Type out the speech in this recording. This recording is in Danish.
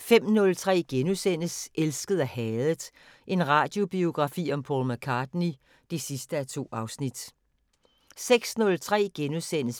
05:03: Elsket og hadet – en radiobiografi om Paul McCartney (2:2)* 06:03: